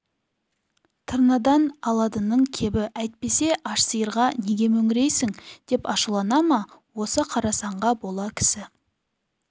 тырнадан аладының кебі әйтпесе аш сиырға неге мөңірейсің деп ашулана ма осы қарасанға бола кісі